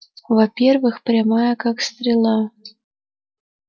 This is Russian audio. во-первых прямая как стрела